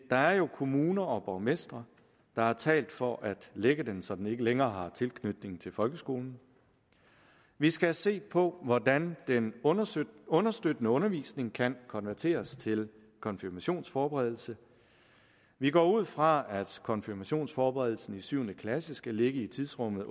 er jo kommuner og borgmestre der har talt for at lægge den så den ikke længere har tilknytning til folkeskolen vi skal se på hvordan den understøttende understøttende undervisning kan konverteres til konfirmationsforberedelse vi går ud fra at konfirmationsforberedelsen i syvende klasse skal ligge i tidsrummet